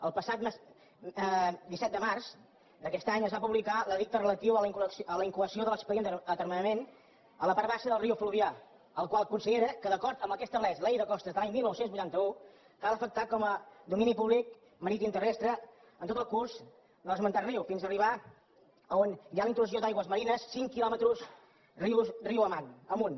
el passat disset de març d’aquest any es va publicar l’edicte relatiu a la incoació de l’expedient d’atermenament a la part baixa del riu fluvià el qual considera que d’acord amb el que estableix la llei de costes de l’any dinou vuitanta u cal afectar com a domini públic maritimoterrestre tot el curs de l’esmentat riu fins arribar on hi ha la intrusió d’aigües marines cinc quilòmetres riu amunt